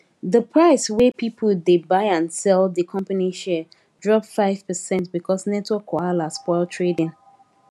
di price wey people dey buy and sell di company share drop five percent because network wahala spoil trading